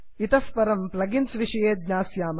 इतः परं प्लगिन्स् विषये ज्ञास्यामः